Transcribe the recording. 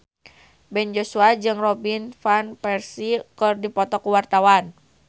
Ben Joshua jeung Robin Van Persie keur dipoto ku wartawan